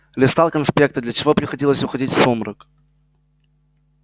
листал конспекты для чего приходилось уходить в сумрак